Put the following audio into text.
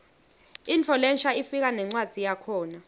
intfo lensha ifika nencwadzi yakhona